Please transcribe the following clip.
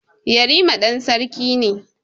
Yarima ɗan sarki ne.